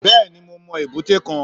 Bẹ́ẹ̀ni mo mọ èbúté kan